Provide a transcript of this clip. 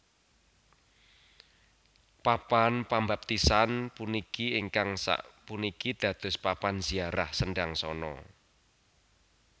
Papan pambaptisan puniki ingkang sapuniki dados papan ziarah Sendangsono